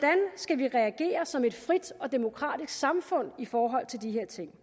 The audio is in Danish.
skal vi reagere som et frit og demokratisk samfund i forhold til de her ting